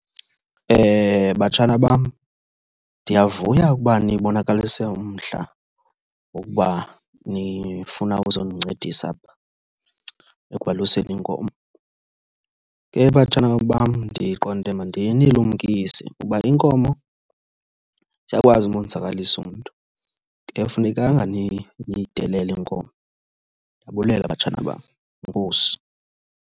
Batshana bam, ndiyavuya ukuba nibonakalise umdla wokuba nifuna ukuzondincedisa apha ekwaluseni iinkomo. Ke batshana bam, ndiqonde mandinilumkise uba iinkomo ziyakwazi umonzakalisa umntu. Akufunekanga niyidelele iinkomo. Ndiyabulela batshana bam, enkosi.